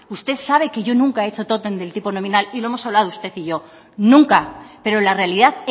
usted sabe que yo nunca he hecho tótem del tipo nominal y lo hemos hablado usted y yo nunca pero la realidad